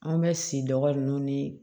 An bɛ si dɔgɔninw ni